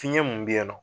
Fiɲɛ mun bɛ yen nɔ